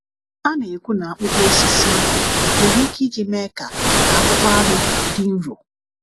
A na-ekwu na akpụkpọ osisi ahụ nwere ike iji mee ka ka akpụkpọ anụ dị nro.